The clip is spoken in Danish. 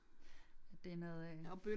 Det noget øh